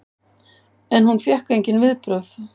En hún fékk engin viðbrögð.